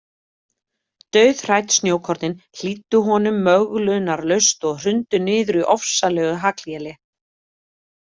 Dauðhrædd snjókornin hlýddu honum möglunarlaust og hrundu niður í ofsalegu hagléli.